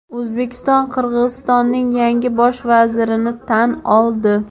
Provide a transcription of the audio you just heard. O‘zbekiston Qirg‘izistonning yangi Bosh vazirini tan oldi.